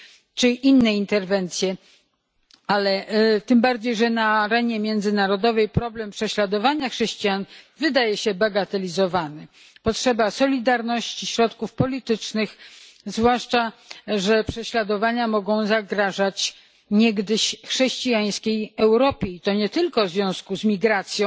czy inne interwencje, tym bardziej że na arenie międzynarodowej problem prześladowania chrześcijan wydaje się bagatelizowany. Istnieje potrzeba solidarności, środków politycznych, zwłaszcza że prześladowania mogą zagrażać niegdyś chrześcijańskiej Europie, i to nie tylko w związku z migracją,